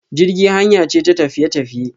Jirgi hanya ce ta tafiye tafiye.